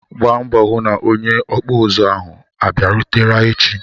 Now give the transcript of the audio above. Gbaa mbọ hụ na onye okpu uzu ahu abịarute echi!